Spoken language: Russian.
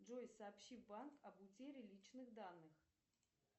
джой сообщи в банк об утере личных данных